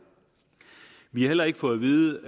vi har heller ikke fået at vide